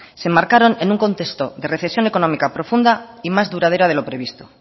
se enmarcaron en un contexto de recesión económica profunda y más duradera de lo previsto